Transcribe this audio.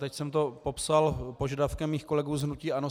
Teď jsem to popsal požadavkem svých kolegů z hnutí ANO.